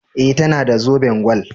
E, tana da zoben gwal.